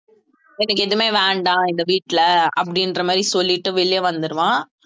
எனக்கு எதுவுமே வேண்டாம் இந்த வீட்டுல அப்படின்ற மாதிரி சொல்லிட்டு வெளியே வந்துடுவான்